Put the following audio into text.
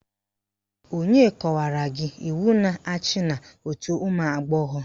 Onye kọwara gị iwu na-achị òtù ụmụagbọghọ?